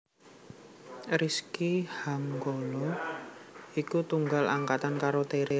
Rizky Hanggono iku tunggal angkatan karo Tere